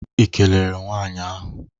Ị kelere nwaanyị ahụ?